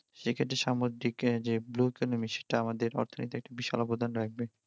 সে ক্ষেত্রে সামুদ্রিকে যে blue economy সেটা আমাদের অর্থনীতিতে একটা বিশাল অবদান রাখবে